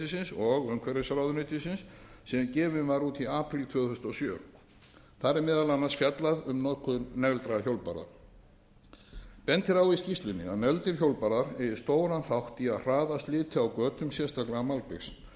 og umhverfisráðuneytis sem gefin var út í apríl tvö þúsund og sjö þar er meðal annars fjallað um notkun negldra hjólbarða bent er á í skýrslunni að negldir hjólbarðar eigi stóran þátt í að hraða sliti á götum sérstaklega malbiks